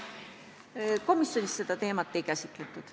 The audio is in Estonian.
Komisjonis seda teemat ei käsitletud.